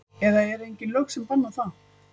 Eða eru engin lög sem banna það?